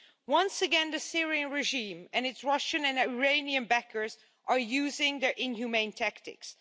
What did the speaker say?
Once again the Syrian regime, and its Russian and Iranian backers, are using their inhumane tactics.